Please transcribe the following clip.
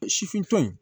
Sifin